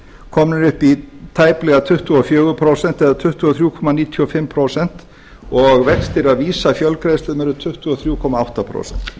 komnir upp í tæplega tuttugu og fjögur prósent eða tuttugu og þrjú komma níutíu og fimm prósent og vextir af vísa fjölgreiðslum eru tuttugu og þrjú komma átta prósent